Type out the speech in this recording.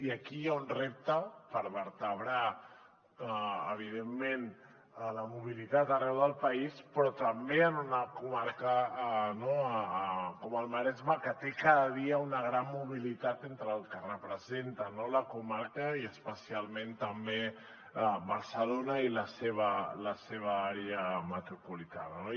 i aquí hi ha un repte per vertebrar evidentment la mobilitat arreu del país però també en una comarca com el maresme que té cada dia una gran mobilitat entre el que representa la comarca i especialment també amb barcelona i la seva àrea metropolitana